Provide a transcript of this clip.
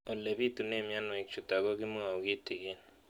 Ole pitune mionwek chutok ko kimwau kitig'�n